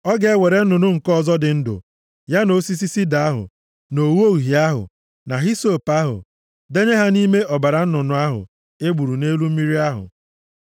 Ọ ga-ewere nnụnụ nke ọzọ dị ndụ, ya na osisi sida ahụ, na ogho uhie ahụ, na hisọp ahụ, denye ha nʼime ọbara nnụnụ ahụ e gburu nʼelu mmiri ahụ.